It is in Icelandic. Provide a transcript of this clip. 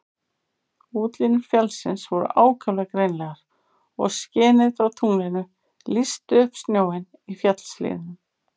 Útlínur fjallsins voru ákaflega greinilegar og skinið frá tunglinu lýsti upp snjóinn í fjallshlíðunum.